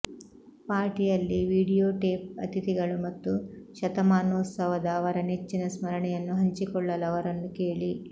ಪಾರ್ಟಿಯಲ್ಲಿ videotape ಅತಿಥಿಗಳು ಮತ್ತು ಶತಮಾನೋತ್ಸವದ ಅವರ ನೆಚ್ಚಿನ ಸ್ಮರಣೆಯನ್ನು ಹಂಚಿಕೊಳ್ಳಲು ಅವರನ್ನು ಕೇಳಿ